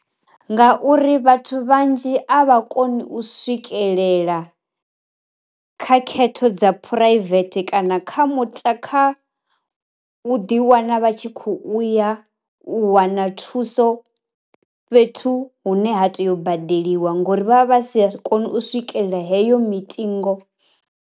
Nga uri vhathu vhanzhi a vha koni u swikelela kha khetho dza phuraivethe kana kha muta kha u ḓi i wana vha tshi kho uya wana thuso fhethu hune ha tei u badeliwa ngori vha vha vha sa koni u swikelela heyo mitingo.